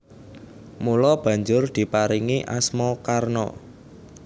Mula banjur diparingi asma Karna